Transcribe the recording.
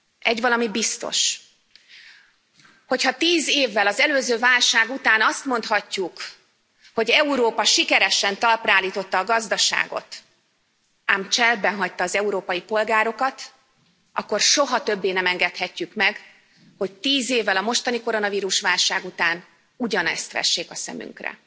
Egyvalami biztos, hogy ha tíz évvel az előző válság után azt mondhatjuk, hogy Európa sikeresen talpra állította a gazdaságot, ám cserbenhagyta az európai polgárokat, akkor soha többé nem engedhetjük meg, hogy tíz évvel a mostani koronavírus válság után ugyanezt vessék a szemünkre.